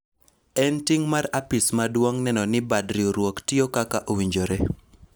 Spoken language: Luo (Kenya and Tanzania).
en ting' mar apis maduong' neno ni bad riwruok tiyo kaka owinjore